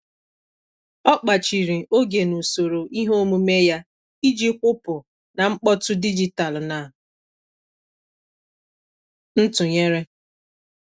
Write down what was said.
Ọ kpachiri oge n'usoro ihe omume ya iji kwụpụ na mkpọtụ dijitalụ na ntụnyere.